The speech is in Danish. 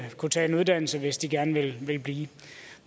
kunne tage en uddannelse hvis de gerne ville blive